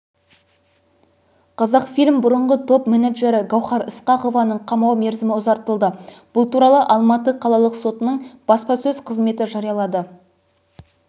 қазақфильм бұрыңғы топ-менеджері гауһар ысқақованың қамау мерзімі ұзартылды бұл туралы алматы қалалық сотының баспасөз қызметі жариялады